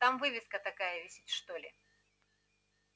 там вывеска такая висит что ли